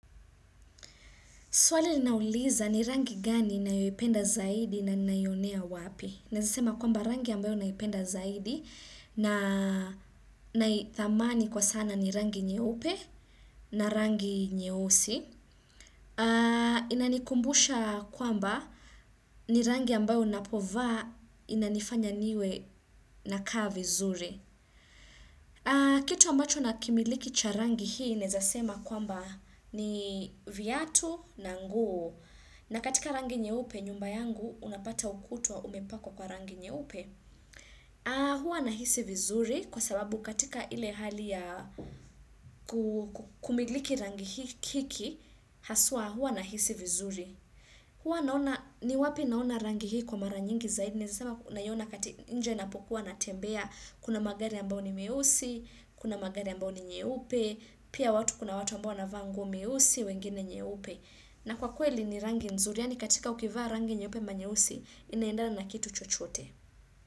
Swali linauliza ni rangi gani ninayoipenda zaidi na ninaiyonea wapi. Naweza sema kwamba rangi ambayo naipenda zaidi na naithamani kwa sana ni rangi nyeupe na rangi nyeusi. Inanikumbusha kwamba ni rangi ambayo unapovaa inanifanya niwe nakaa vizuri. Kitu ambacho nakimiliki cha rangi hii naeza sema kwamba ni viatu na nguo na katika rangi nyeupe nyumba yangu unapata ukuta umepakwa kwa rangi nyeupe. Huwa nahisi vizuri kwa sababu katika ile hali ya kumiliki rangi hiki Haswa huwa nahisi vizuri ni wapi naona rangi hii kwa mara nyingi zaidi naweza sema naiona katika nje ninapokuwa natembea, kuna magari ambayo ni meusi, kuna magari ambayo ni meupe, pia watu kuna watu ambao wanavaa nguo meusi, wengine nyeupe. Na kwa kweli ni rangi nzuri, yani katika ukivaa rangi nyeupe ama nyeusi inaendana na kitu chochote.